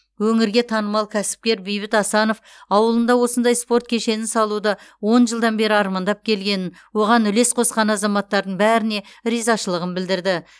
өңірге танымал кәсіпкер бейбіт асанов ауылында осындай спорт кешенін салуды он жылдан бері армандап келгенін оған үлес қосқан азаматтардың бәріне ризашылығын білдірді